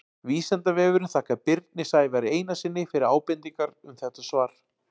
Vísindavefurinn þakkar Birni Sævari Einarssyni fyrir ábendingar um þetta svar.